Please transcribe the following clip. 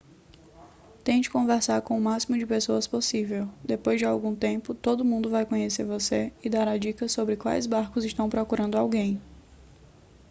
tente conversar com o máximo de pessoas possível depois de algum tempo todo mundo vai conhecer você e dará dicas sobre quais barcos estão procurando alguém